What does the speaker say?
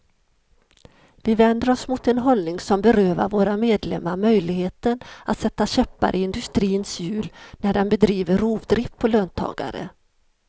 Vi vänder oss mot en hållning som berövar våra medlemmar möjligheten att sätta käppar i industrins hjul när den bedriver rovdrift på löntagare.